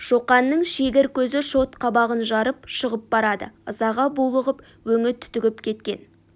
шоқанның шегір көзі шот қабағын жарып шығып барады ызаға булығып өңі түтігіп кеткен